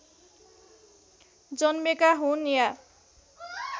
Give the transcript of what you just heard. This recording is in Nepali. जन्मेका हुन् या